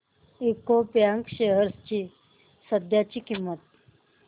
UCO bank shares ची सध्याची किंमत